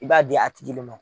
I b'a di a tigi le ma.